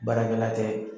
Baarakɛla tɛ